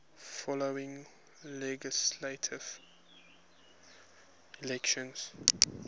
following legislative elections